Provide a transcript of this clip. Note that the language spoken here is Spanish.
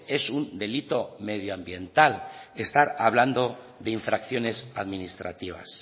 es un delito medioambiental estar hablando de infracciones administrativas